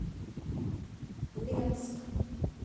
ленск